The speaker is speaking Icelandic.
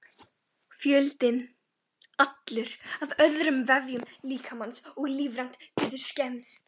Fjöldinn allur af öðrum vefjum líkamans og líffærum getur skemmst.